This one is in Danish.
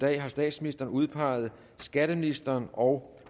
dag har statsministeren udpeget skatteministeren og